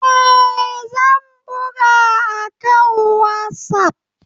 Eh, zan buga akan WhatsApp.